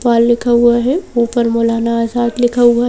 बाल लिखा हुआ है ऊपर मोलाना आजाद लिखा हुआ है।